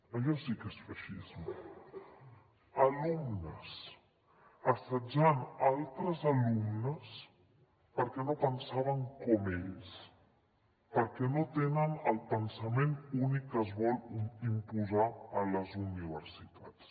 allò sí que és feixisme alumnes assetjant altres alumnes perquè no pensaven com ells perquè no tenen el pensament únic que es vol imposar a les universitats